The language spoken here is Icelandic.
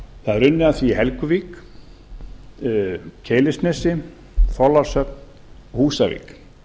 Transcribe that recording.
það er unnið að því í helguvík keilisnesi þorlákshöfn og húsavík